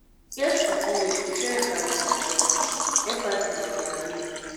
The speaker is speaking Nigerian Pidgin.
e get pipu wey to show empathy na their empathy na their way.